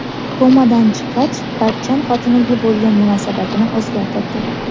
Komadan chiqqach Bachchan xotiniga bo‘lgan munosabatini o‘zgartirdi.